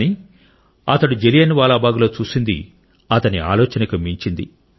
కానీ అతను జలియన్ వాలా బాగ్లో చూసింది అతని ఆలోచనకు మించినది